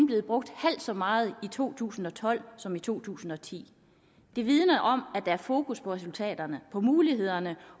blevet brugt halvt så meget i to tusind og tolv som i to tusind og ti det vidner om at der er fokus på resultaterne på mulighederne